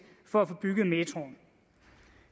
for at få bygget metroen